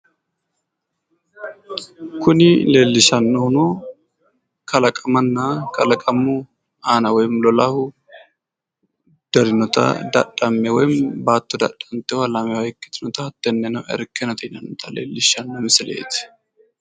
Kuni leellishannohuno kalaqamanna kalaqamu aana woyim lolahu darinota dadhamme woyi baattote dadhantewo lamewa ikkitinota hattene irkkenete yinannita leellishshanno misileeti.